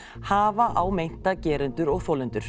hafa á meinta gerendur og þolendur